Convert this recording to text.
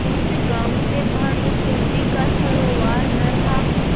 जिस गॉँव से भानुकुँवरि का सरोवार न था